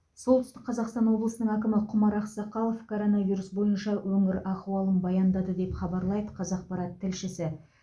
солтүстік қазақстан облысының әкімі құмар ақсақалов коронавирус бойынша өңір ахуалын баяндады деп хабарлайды қазақпарат тілшісі